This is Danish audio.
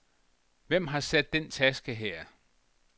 Hvem har sat den taske her.